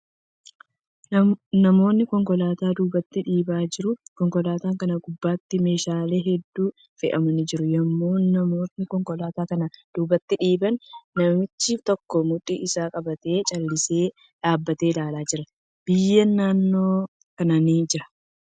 Namootni konkolaataa duubatti dhiibaa jiru. Konkolaataa kana gubbaatti, meeshaalee hedduun fe'amanii jiru. Yommuu namootni konkolaataa kana duubatti dhiiban, namichi tokko mudhii isaa qabatee callisee dhaabbatee ilaalaa jira. Biyyeen naannoo kana ni jira.